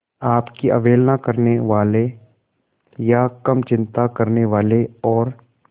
आपकी अवहेलना करने वाले या कम चिंता करने वाले और